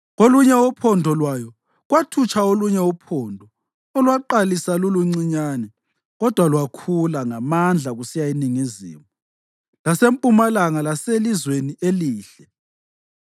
Kolunye uphondo lwayo kwathutsha olunye uphondo olwaqalisa luluncinyane kodwa lwakhula ngamandla kusiya eningizimu, lasempumalanga laseLizweni Elihle.